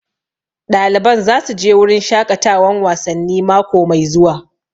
Ɗaliban za su je wurin shaƙatawan wasanni mako mai zuwa